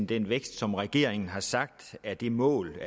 den vækst som regeringen har sagt er det mål